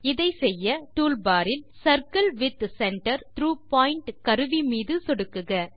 இதைச்செய்ய டூல்பாரில் circle with centre through point கருவி மீது சொடுக்குக